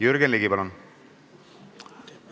Jürgen Ligi, palun!